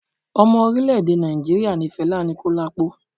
Ọmọ orilẹ-ede Naijiria ni Fela Anikulapo